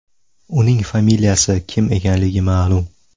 Uning familiyasi Kim ekanligi ma’lum.